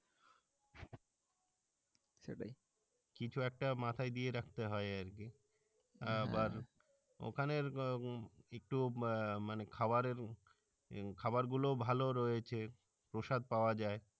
সেটাই কিছু একটা মাথাই দিয়ে রাখতে হই আর কি আবার ওখানে একটু মানে খাওয়ারের খাওয়ার গুলো ভালো রয়েছে প্রসাদ পাওয়া যাই